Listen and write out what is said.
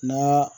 N'a